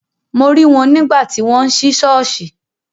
Mo rí wọn nígbà tí wọ́n ń sí ṣọ́ọ̀ṣì.